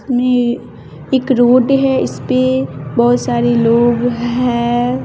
में एक रोड है इस पे बहोत सारे लोग हैं।